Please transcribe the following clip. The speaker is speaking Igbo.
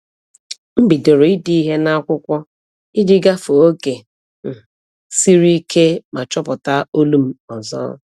M bidoro ide ihe n’akwụkwọ iji gafee oge um siri ike ma chọpụta olu m ọzọ.